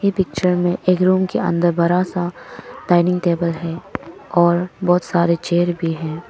ये पिक्चर में एक रूम के अंदर बड़ा सा डाइनिंग टेबल है और बहुत सारे चेयर भी है।